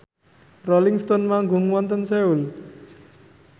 Rolling Stone manggung wonten Seoul